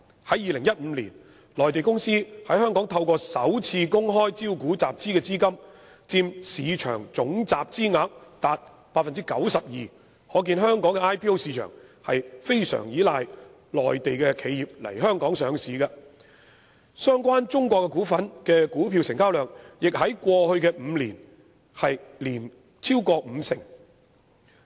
在2015年，內地公司在香港透過首次公開招股籌集的資金佔市場總集資額達 92%， 可見香港的首次公開招股市場非常依賴內地企業來港上市，相關中國股份的股票成交量亦在過去5年均超過五成。